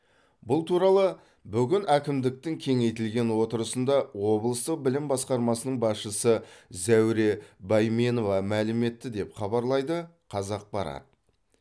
бұл туралы бүгін әкімдіктің кеңейтілген отырысында облыстық білім басқармасының басшысы зәуре бәйменова мәлім етті деп хабарлайды қазақпарат